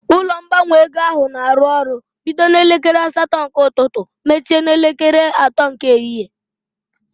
Ụlọ ngbanwe ego ahụ na arụ ọrụ bido n'elekere asatọ nke ụtụtụ mechie n'elekere atọ nke ehihie